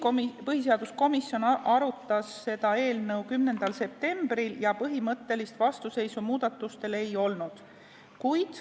Põhiseaduskomisjon arutas eelnõu 10. septembril ja põhimõttelist vastuseisu muudatustele ei olnud.